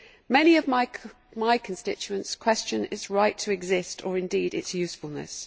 Many of my constituents question its right to exist, or indeed its usefulness.